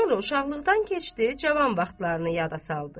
Sonra uşaqlıqdan keçdi, cavan vaxtlarını yada saldı.